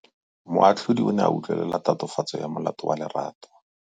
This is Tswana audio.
Moatlhodi o ne a utlwelela tatofatsô ya molato wa Lerato.